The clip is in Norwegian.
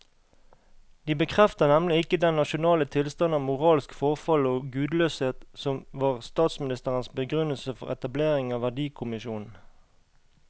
De bekrefter nemlig ikke den nasjonale tilstand av moralsk forfall og gudløshet som var statsministerens begrunnelse for etableringen av verdikommisjonen.